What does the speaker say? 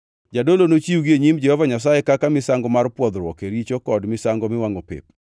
“ ‘Jadolo nochiwgi e nyim Jehova Nyasaye kaka misango mar pwodhruok e richo kod misango miwangʼo pep.